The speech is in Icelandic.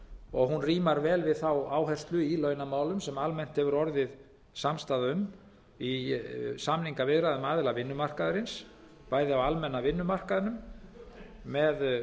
og hún rímar við þá áherslu í launamálum sem almennt hefur orðið samstaða um í samningaviðræðum aðila vinnumarkaðarins bæði á almenna vinnumarkaðnum með